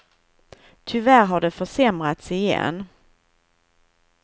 Tyvärr, har det försämrats igen.